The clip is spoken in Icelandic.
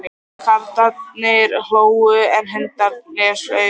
Karlarnir hlógu, en hundarnir flugust á.